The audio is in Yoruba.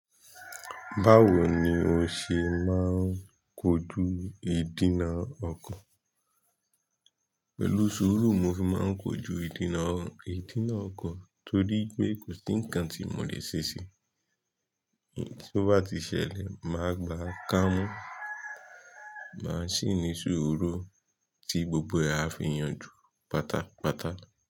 Báwo ni o ṣe máa ń kojú ìdènà ọkàn? Pẹ̀lú sùúrù mo fi máa ń kojú ìdènà oko, torí pé kò sí ǹkan tí mò lè ṣe ṣí. Tó bá ti ṣẹlẹ̀, máa gbà ká mú, máa sì ní sùúrù tí gbogbo ẹ á fi yanjú pátápátá.